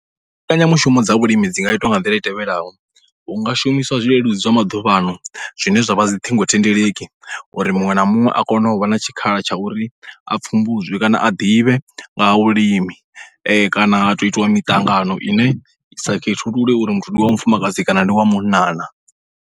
Mbekanyamushumo dza vhulimi dzi nga itwa nga nḓila i tevhelaho, hu nga shumiswa zwileludzi zwa maḓuvhaano zwine zwa vha dzi ṱhingothendeleki uri muṅwe na muṅwe a kone u vha na tshikhala tsha uri a pfhumbudzwe kana a ḓivhe nga ha vhulimi kana ha tou itiwa miṱangano ine i sa khethulule uri muthu ndi wa mufumakadzi kana ndi wa munna na.